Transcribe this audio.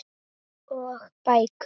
Og bækur.